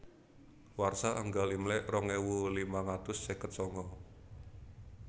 Warsa Enggal Imlèk rong ewu limang atus seket sanga